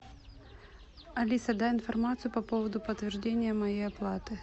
алиса дай информацию по поводу подтверждения моей оплаты